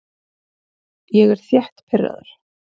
Ég er þétt pirraður.